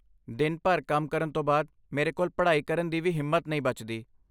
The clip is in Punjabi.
ਦਿਨ ਭਰ ਕੰਮ ਕਰਨ ਤੋਂ ਬਾਅਦ, ਮੇਰੇ ਕੋਲ ਪੜ੍ਹਾਈ ਕਰਨ ਦੀ ਵੀ ਹਿੰਮਤ ਨਹੀਂ ਬਚਦੀ।